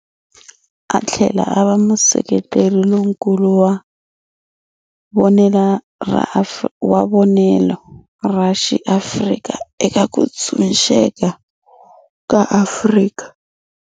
Atlhela ava museketeri lonkulu wa vonele ra xi Afrika eka kutshunxeka ka Afrika.